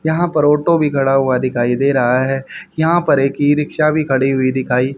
यहाँ पर ऑटो भी खड़ा हुआ दिखाइ दे रहा है। यहाँ पर एक ई रिक्शा भी खडी हुई दिखाइ --